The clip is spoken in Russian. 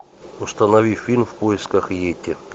установи фильм в поисках етти